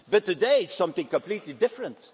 But today it is something completely different.